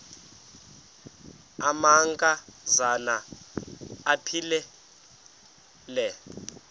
amanka zana aphilele